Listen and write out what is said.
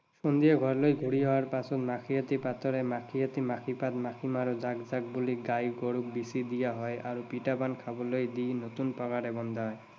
সন্ধিয়া ঘৰলৈ ঘূৰি অহাৰ পাছত মাখিয়তী পাতেৰে, মাখিয়তী মাখি পাত, মাখি মাৰো জাক জাক বুলি গাই গৰুক বিচি দিয়া হয় আৰু পিঠা পনা খাবলৈ দি নতুন পঁঘাৰে বন্ধা হয়।